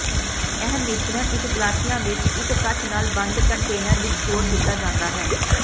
ਇਹ ਮਿਸ਼ਰਣ ਇੱਕ ਗਲਾਸਿਆਂ ਵਿੱਚ ਇੱਕ ਕੱਚ ਨਾਲ ਬੰਦ ਕੰਟੇਨਰ ਵਿੱਚ ਸਟੋਰ ਕੀਤਾ ਜਾਂਦਾ ਹੈ